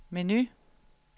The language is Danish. menu